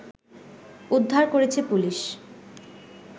উদ্ধার করেছে পুলিশ